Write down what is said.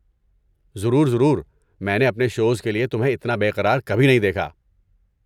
ضرور ضرور، میں نے اپنے شوز کے لیے تمہیں اتنا بے قرار کبھی نہیں دیکھا!